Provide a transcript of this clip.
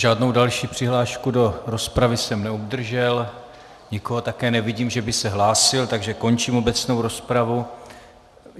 Žádnou další přihlášku do rozpravy jsem neobdržel, nikoho také nevidím, že by se hlásil, takže končím obecnou rozpravu.